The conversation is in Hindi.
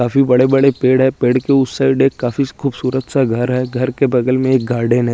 काफी बड़े बड़े पेड़ है पेड़ के उस साइड एक काफी खूबसूरत सा घर है घर के बगल में एक गार्डन है।